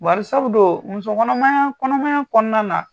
Bari sabu don, muso kɔnɔmaya , kɔnɔmaya kɔnɔna na